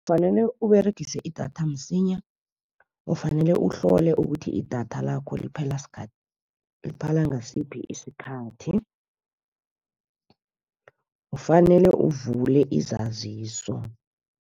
Kufanele Uberegise idatha msinya, ufanele uhlole ukuthi idatha lakho liphela ngasiphi isikhathi, kufanele uvule izaziso.